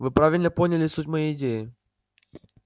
вы правильно поняли суть моей идеи